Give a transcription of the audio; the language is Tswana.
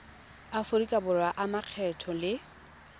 aforika borwa a makgetho le